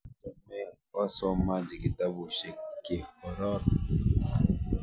Acha me wasomaji kitabushek keroron